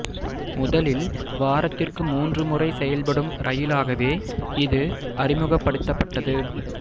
முதலில் வாரத்திற்கு மூன்று முறை செயல்படும் ரயிலாகவே இது அறிமுகப்படுத்தப்பட்டது